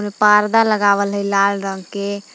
परदा लगावल हइ लाल रंग के।